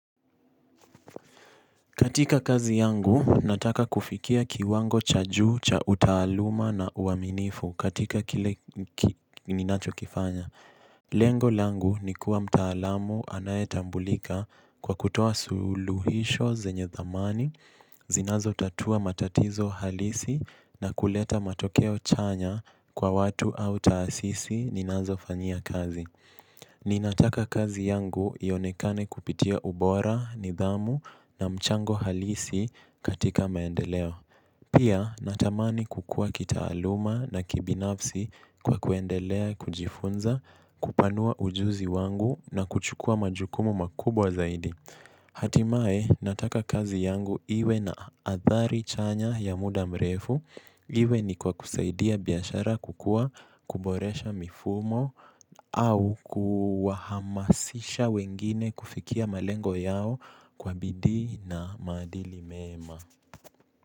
Katika kazi yangu, nataka kufikia kiwango cha juu cha utaaluma na uaminifu katika kile ninacho kifanya. Lengo langu ni kuwa mtaalamu anayetambulika kwa kutoa suluhisho zenye thamani, zinazo tatua matatizo halisi na kuleta matokeo chanya kwa watu au taasisi ninazo fanyia kazi. Ninataka kazi yangu ionekane kupitia ubora, nidhamu na mchango halisi katika maendeleo. Pia natamani kukua kitaaluma na kibinafsi kwa kuendelea kujifunza, kupanua ujuzi wangu na kuchukua majukumu makubwa zaidi. Hatimae nataka kazi yangu iwe na athari chanya ya muda mrefu iwe ni kwa kusaidia biashara kukua kuboresha mifumo au kuhamasisha wengine kufikia malengo yao kwa bidii na madili mema.